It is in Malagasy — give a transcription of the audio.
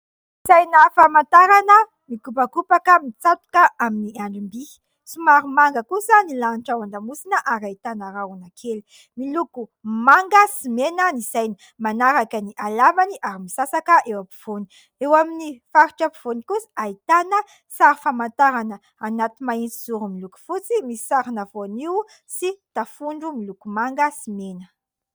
Saina famantarana mikopakopaka mitsatoka amin'ny andrim-by, somary manga kosa ny lanitra ao an-damosina ary ahitana rahona kely, miloko manga sy mena ny saina, manaraka ny halavany ary misasaka eo ampovoany, eo amin'ny faritra ampovoany kosa ahitana sary famantarana anaty mahitsy zoro miloko fotsy, misy sarina voanio sy tafondro miloko manga sy mena.